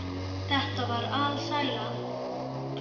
Þetta var alsæla.